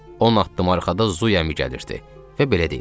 On addım arxadan Zuymi gəlirdi və belə deyirdi: